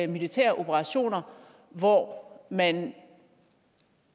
militære operationer hvor man